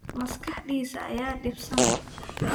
Maskaxdiisa ayaa dhibsan.